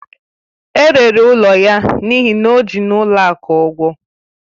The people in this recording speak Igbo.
E rere ụlọ ya n'ihi na o ji n'ụlọ akụ ụgwọ